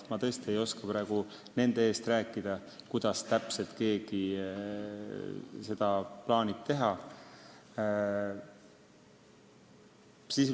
Ma tõesti ei oska praegu nende eest rääkida, kuidas täpselt keegi seda teha plaanib.